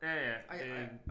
Ja ja det